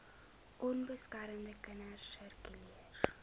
onbeskermde kinders sirkuleer